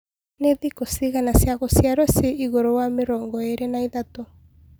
nĩ thĩkũ cĩĩgana cĩa gũcĩarwo cĩĩĩgũrũ wa mĩrongoĩrĩ naĩthatũ